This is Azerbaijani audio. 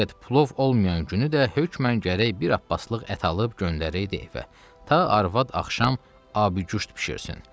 Fəqət plov olmayan günü də hökmən gərək bir Abbaslıq ət alıb göndərirdi evə, ta arvad axşam abıquşt bişirsin.